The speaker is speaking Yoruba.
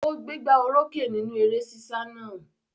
Ó gbégbá orókè nínú eré sísá náà?